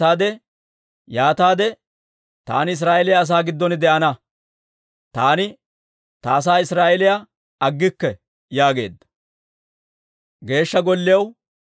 Yaataade taani Israa'eeliyaa asaa giddon de'ana; taani ta asaa Israa'eeliyaa aggikke» yaageedda.